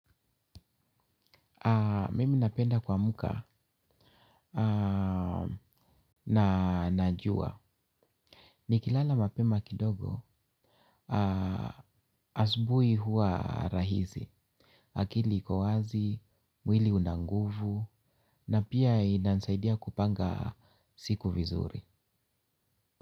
Mimi napenda kuamka na najua nikilala mapema kidogo asubui hua rahizi, akili iko wazi, mwili unanguvu na pia inanisaidia kupanga siku vizuri.